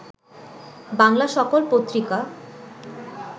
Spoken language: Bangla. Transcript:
বাংলা সকল পত্রিকা